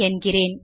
என்கிறேன்